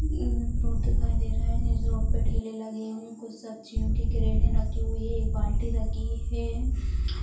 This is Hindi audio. एक रोड दिखाई दे रहा है इस रोड पे ठेलें लगे हुए हैं कुछ सब्जियों के क्रेटें रखी हुई है बाल्टी रखी है।